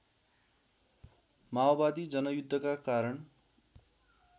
माओवादी जनयुद्धका कारण